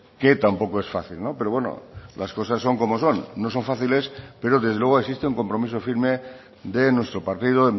que tampoco es fácil pero bueno las cosas son como son no son fáciles pero desde luego existe un compromiso firme de nuestro partido